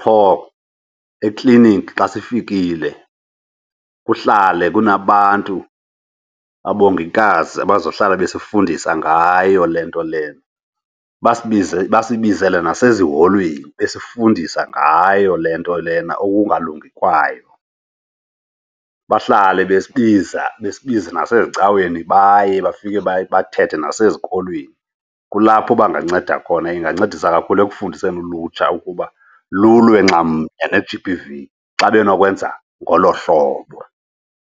qho ekliniki xa sifikile kuhlale kunabantu, abongikazi, abazohlala basifundise ngayo le nto lena. Basibize, basibizele naseziholweni besifundisa ngayo le nto lena, ukungalungi kwayo. Bahlale besibiza, besibiza nasezicaweni baye bafike bathethe nasezikolweni. Kulapho banganceda khona, ingancedisa kakhulu ekufundiseni ulutsha ukuba lulwe nxam ne-G_B_V xa benokwenza ngolo hlobo.